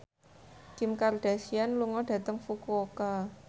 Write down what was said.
Kim Kardashian lunga dhateng Fukuoka